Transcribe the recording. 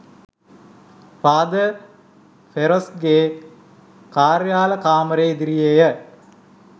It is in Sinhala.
ෆාදර් ෆෙරෝස්ගේ කාර්යාල කාමරය ඉදිරියේ ය.